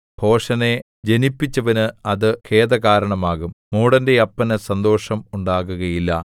ഭോഷനെ ജനിപ്പിച്ചവന് അത് ഖേദകാരണമാകും മൂഢന്റെ അപ്പന് സന്തോഷം ഉണ്ടാകുകയില്ല